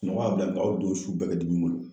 Suɔgɔ y'a bila, nka a ye o don su bɛɛ kɛ dimi bolo.